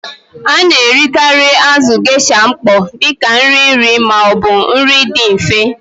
A na-erikarị azụ̀ Geisha mkpọ dị ka nri nri ma ọ bụ nri dị mfe.